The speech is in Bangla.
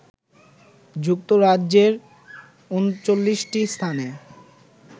যুক্তরাজ্যের ৩৯টি স্থানে